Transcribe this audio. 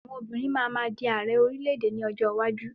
Àwọn obìnrin máa ma di Ààrẹ orílẹ̀-èdè ní ọjọ́ iwájú.